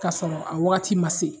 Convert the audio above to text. Kasɔrɔ a wagati ma se